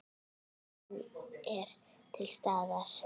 Lausnin er til staðar.